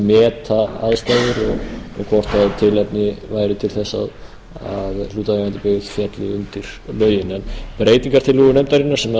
meta aðstæður og hvort tilefni væri til þess að hlutaðeigandi byggð félli undir lögin breytingartillögur nefndarinnar sem